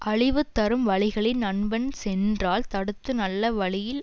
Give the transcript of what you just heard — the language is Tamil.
அழிவு தரும் வழிகளில் நண்பன் சென்றால் தடுத்து நல்ல வழியில்